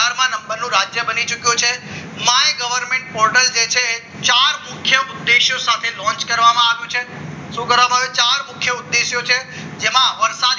રાજ્ય બની ચૂક્યું છે my goverment portal જે છે ચાર મુખ્ય ઉદ્દેશો સાથે launch કરવામાં આવ્યું છે ચાર મુખ્ય ઉદ્દેશો છે જેમાં વરસાદ